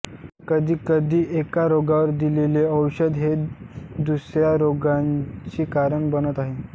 कधी कधी एका रोगावर दिलेले औषध हे दुसऱ्या रोगाचे कारण बनत आहे